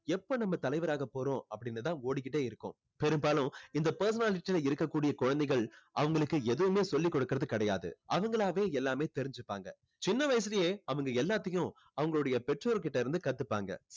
எப்போ நம்ம தலைவராக போறோம் அப்படின்னு தான் ஓடிக்கிட்டே இருக்கும். பெரும்பாலும் இந்த personality ல இருக்கக்கூடிய குழந்தைகள் அவங்களுக்கு எதுவுமே சொல்லிக் கொடுக்கிறது கிடையாது. அவங்களாவே எல்லாமே தெரிஞ்சுப்பாங்க. சின்ன வயசுலயே அவங்க எல்லாத்தையும் அவங்களுடைய பெற்றோர் கிட்ட இருந்து கத்துப்பாங்க.